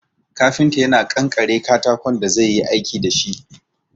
Kafinta yana ƙanƙare katakon da zai yi aiki dashi